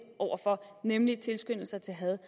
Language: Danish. over for nemlig tilskyndelse til had